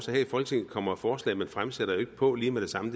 her i folketinget kommer forslag man fremsætter ikke på lige med det samme